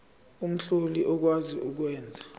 omhlali okwazi ukwenza